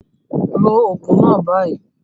Take the medication now